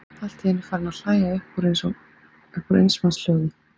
Allt í einu farinn að hlæja upp úr eins manns hljóði.